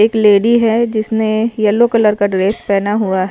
एक लेडी है जिसने येलो कलर का ड्रेस पहना हुआ।